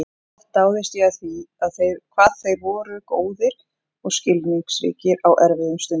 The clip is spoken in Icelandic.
Oft dáðist ég að því hvað þeir voru góðir og skilningsríkir á erfiðum stundum.